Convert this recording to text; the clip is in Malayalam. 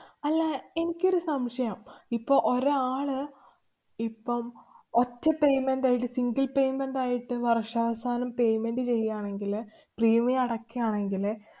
അല്ല, എനിക്കൊരു സംശയം? ഇപ്പം ഒരാള് ഇപ്പം ഒറ്റ payment ആയിട്ട് single payment ആയിട്ട് വര്‍ഷാവസാനം payment ചെയ്യുകയാണെങ്കില് premium അടയ്ക്കാണെങ്കില്